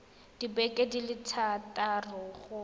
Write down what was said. dibeke di le thataro go